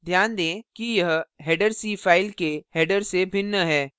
ध्यान दें कि यह header c file के header से भिन्न है